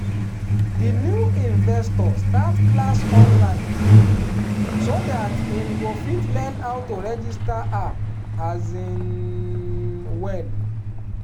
di new investor start class online so that him go fit learn how to register app um well.